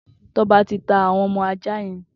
Toba ti tà awọn ọmọ àjá yèn